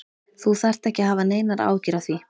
Þú þarft ekki að hafa neinar áhyggjur af því.